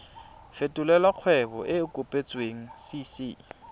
fetolela kgwebo e e kopetswengcc